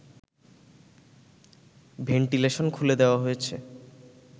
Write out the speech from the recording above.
ventilation খুলে দেওয়া হয়েছে